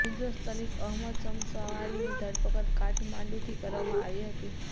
નિર્દોષ લતીફ અહમદ શમસાવરીની ઘરપકડ કાઠમાંડુથી કરવામાં આવી હતી